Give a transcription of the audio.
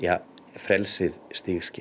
frelsið stigskipt